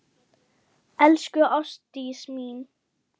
Elsku Ástdís mín.